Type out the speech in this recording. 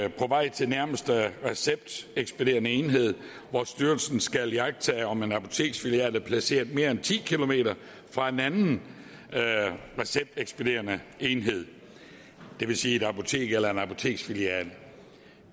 til nærmeste receptekspederende enhed hvor styrelsen skal iagttage om en apoteksfilial er placeret mere end ti km fra en anden receptekspederende enhed det vil sige et apotek eller en apoteksfilial